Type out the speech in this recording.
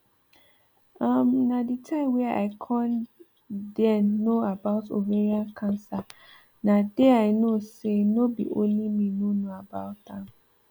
um na the time wey i con den no about ovarian cancer na dey i know say no be only me no know about am